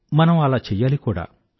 మనం అలా చెయ్యాలి కూడా